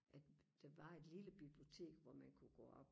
at der var et lille bibliotek hvor man kunne gå op